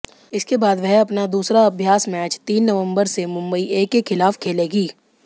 इसके बाद वह अपना दूसरा अभ्यास मैच तीन नवंबर से मुंबई ए के खिलाफ खेलेगी